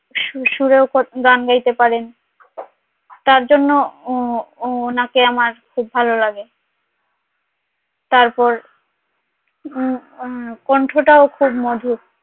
সুরেও গান গাইতে পারেন সুরেও গান গাইতে পারেন তার জন্য ও ওনাকে আমার খুব ভালো লাগে তারপর কণ্ঠ টাও খুব মধুর